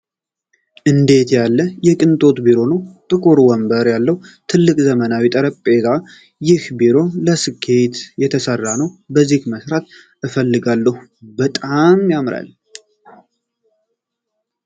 እንዴት ያለ የቅንጦት ቢሮ ነው! ጥቁር ወንበር ያለው ትልቅ ዘመናዊ ጠረጴዛ! ይህ ቢሮ ለስኬት የተሰራ ነው! ከዚህ መስራት እፈልጋለሁ በጣም ያምራል!